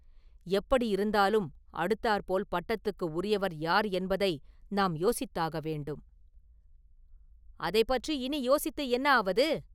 "எப்படியிருந்தாலும், அடுத்தாற்போல் பட்டத்துக்கு உரியவர் யார் என்பதை நாம் யோசித்தாக வேண்டும்…” “அதைப் பற்றி இனி யோசித்து என்ன ஆவது"?